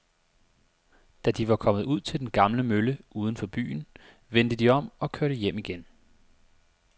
Da de var kommet ud til den gamle mølle uden for byen, vendte de om og kørte hjem igen.